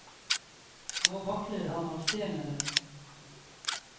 Nå vakler han avsted med den.